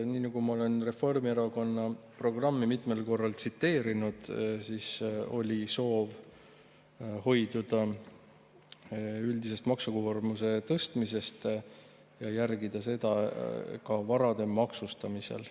Nii nagu ma olen Reformierakonna programmi mitmel korral tsiteerinud, oli soov hoiduda üldisest maksukoormuse tõstmisest ja järgida seda ka varade maksustamisel.